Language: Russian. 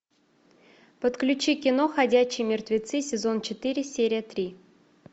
подключи кино ходячие мертвецы сезон четыре серия три